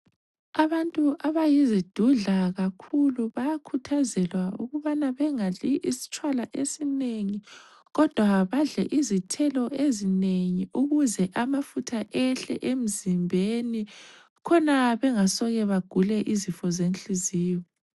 Abantu abayizidudla kakhulu bayakhuthazelwa ukubana bengadli isitshwala esinengi kodwa badle izithelo ezinengi ukuze amafutha ehle emzimbeni khona bengasoke bagule izifo zenhliziyo.